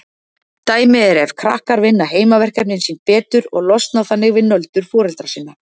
Dæmi er ef krakkar vinna heimaverkefnin sín betur og losna þannig við nöldur foreldra sinna.